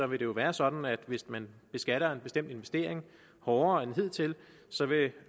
vil det jo være sådan at hvis man beskatter en bestemt investering hårdere end hidtil så vil